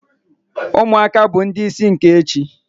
Umuaka bu ndi isi nke echi